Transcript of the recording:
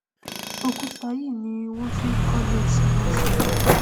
òkúta yìí ni wọn fi n kọlé tí wọn sì